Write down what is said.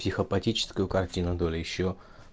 психопатическую картину доли ещё